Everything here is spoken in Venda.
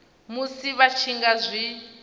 musi vha tshi nga zwi